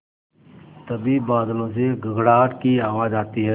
तभी बादलों से गड़गड़ाहट की आवाज़ आती है